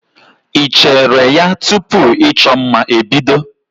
Ị cheere ya tupu ịchọ mma ebido?